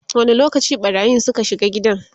wani lokaci ɓarayin Suka shiga gidan?